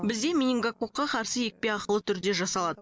бізде менингококқа қарсы екпе ақылы түрде жасалады